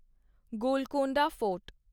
Golconda fort